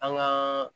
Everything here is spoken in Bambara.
An gaa